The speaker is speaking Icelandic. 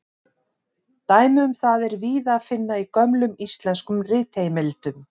Dæmi um það er víða að finna í gömlum íslenskum ritheimildum.